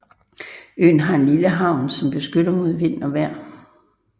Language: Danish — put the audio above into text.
Øen har en lille havn som beskytter mod vejr og vind